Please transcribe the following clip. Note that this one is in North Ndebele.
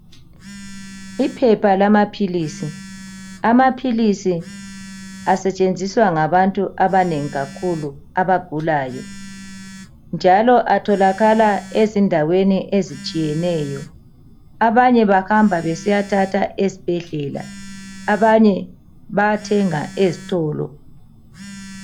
Iphepha lamaphilisi. Amaphilisi asetshenziswa ngabantu abanengi kakhulu abagulayo njalo atholakala ezindaweni ezitshiyeneyo. Abanye bahamba besiyathatha esibhedlela , abanye bayathenga ezitolo.